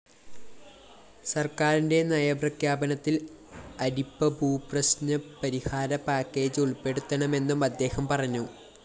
സര്‍ക്കാരിന്റെ നയപ്രഖ്യാപനത്തില്‍ അരിപ്പഭൂപ്രശ്‌നപരിഹാര പാക്കേജ്‌ ഉള്‍പ്പെടുത്തണമെന്നും അദ്ദേഹം പറഞ്ഞു